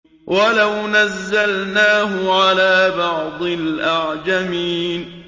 وَلَوْ نَزَّلْنَاهُ عَلَىٰ بَعْضِ الْأَعْجَمِينَ